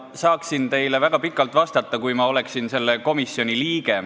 Ma saaksin teile väga pikalt vastata, kui ma oleksin selle komisjoni liige.